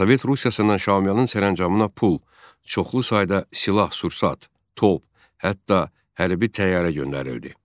Sovet Rusiyasından Şaumyanın sərəncamına pul, çoxlu sayda silah-sursat, top, hətta hərbi təyyarə göndərildi.